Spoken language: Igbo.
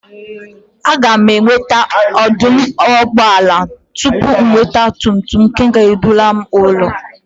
A gam akwusi na oduugboala tupu m nwete ogba tum tum nke ga eburu m ulo